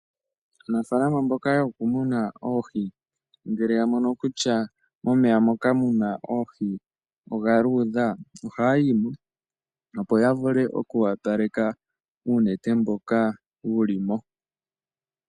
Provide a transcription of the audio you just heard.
Aanafalama mboka yokumuna oohi ngele yamono kutya momeya moka muna oohi omwa luudha ohaya yimo opo yavule oku opaleka uunete mboka wulimo